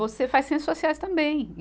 Você faz ciências sociais também.